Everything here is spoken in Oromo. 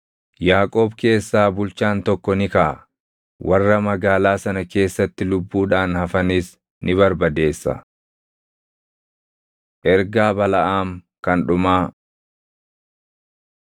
Yaaqoob keessaa bulchaan tokko ni kaʼa; warra magaalaa sana keessatti lubbuudhaan hafanis ni barbadeessa.” Ergaa Balaʼaam Kan Dhumaa